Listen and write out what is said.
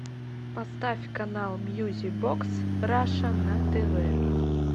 поставь канал мьюзик бокс раша на тв